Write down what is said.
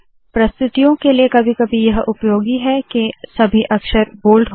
प्रस्तुतियों के लिए कभी कभी यह उपयोगी है के सभी अक्षर बोल्ड हो